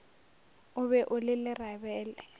o be o le lerabele